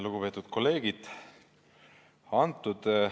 Lugupeetud kolleegid!